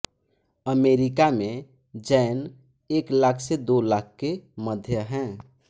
America में जैन एक लाख से दो लाख के मध्य है